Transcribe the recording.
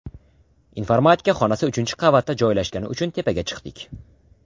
Informatika xonasi uchinchi qavatda joylashgani uchun tepaga chiqdik.